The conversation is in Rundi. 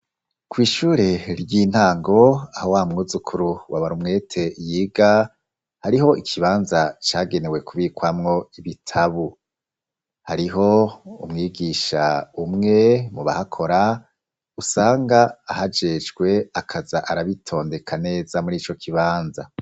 Kw'ishure ry'intango aho wamwuzukuru, wa Barumwete yiga hariho ikibanza cagenewe kubikwamwo ibitabu. Hariho umwigisha umwe mubahakora, usanga ahajejwe akaza arabitondeka neza muri ico kibanza.